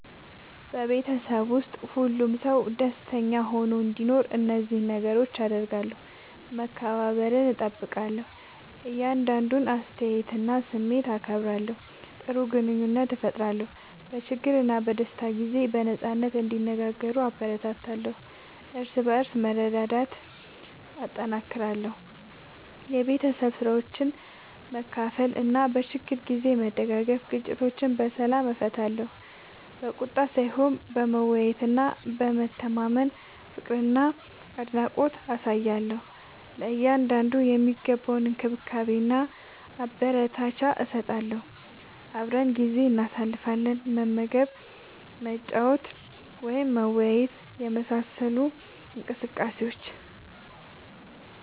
በቤተሰብ ውስጥ ሁሉም ሰው ደስተኛ ሆኖ እንዲኖር እነዚህን ነገሮች አደርጋለሁ፦ መከባበርን እጠብቃለሁ – የእያንዳንዱን አስተያየትና ስሜት አከብራለሁ። ጥሩ ግንኙነት እፈጥራለሁ – በችግርና በደስታ ጊዜ በነጻነት እንዲነጋገሩ እበረታታለሁ። እርስ በርስ መረዳዳትን እጠናክራለሁ – የቤት ስራዎችን በመካፈል እና በችግር ጊዜ በመደጋገፍ። ግጭቶችን በሰላም እፈታለሁ – በቁጣ ሳይሆን በመወያየትና በመተማመን። ፍቅርና አድናቆት አሳያለሁ – ለእያንዳንዱ የሚገባውን እንክብካቤና አበረታቻ እሰጣለሁ። አብረን ጊዜ እናሳልፋለን – መመገብ፣ መጫወት ወይም መወያየት በመሳሰሉ እንቅስቃሴዎች።